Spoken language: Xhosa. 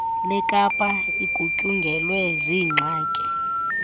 lekapa igutyungelwe ziingxaki